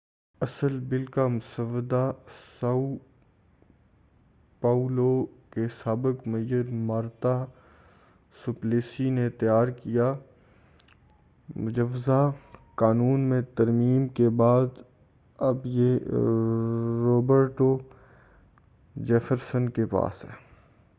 اصل بل کا مسودہ ساؤ پاؤلو کے سابق میئر مارتا سوپلیسی نے تیار کیا تھا مجوزہ قانون میں ترمیم کے بعد اب یہ روبرٹو جیفرسن کے پاس ہے